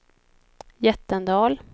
Jättendal